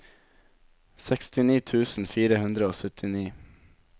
sekstini tusen fire hundre og syttini